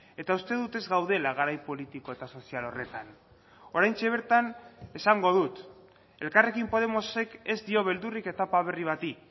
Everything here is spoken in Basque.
eta uste dut ez gaudela garai politiko eta sozial horretan oraintxe bertan esango dut elkarrekin podemosek ez dio beldurrik etapa berri bati